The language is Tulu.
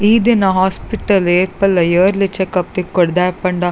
ಈ ದಿನ ಹಾಸ್ಪಿಟಲ್ ಏಪಲ ಇಯರ್ಲಿ ಚೆಕಪ್ ತಿಕ್ಕೊಡ್ ದಾಯೆ ಪಂಡ--